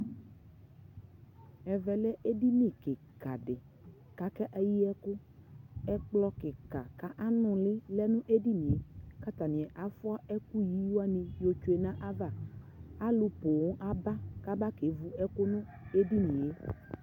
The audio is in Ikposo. Ɛvɛ lɛ ɛdini kika dι ka kɛ yi ɛkʋ Ɛkplɔ kika ka anu lι lɛ nu ɛdi ni yɛKata ni afua ɛkʋ yi wani yɔ tsue nu aya vaAlu poo aba kaba kɛvu ɛkʋ nu ɛdι ni yɛ